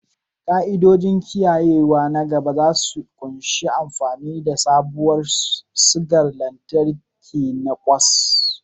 Ka'idojin kiyayewa na gaba za su ƙunshi amfani da sabuwar sigar lantarki na kwas